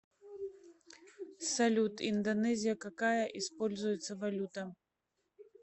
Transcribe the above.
салют индонезия какая используется валюта